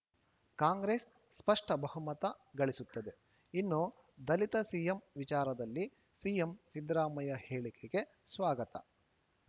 ಕಾಂಗ್ರೆಸ್‌ ಸ್ಪಷ್ಟಬಹುಮತ ಗಳಿಸುತ್ತದೆ ಇನ್ನು ದಲಿತ ಸಿಎಂ ವಿಚಾರದಲ್ಲಿ ಸಿಎಂ ಸಿದ್ದರಾಮಯ್ಯ ಹೇಳಿಕೆಗೆ ಸ್ವಾಗತ